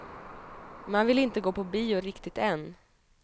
Man vill inte gå på bio riktigt än.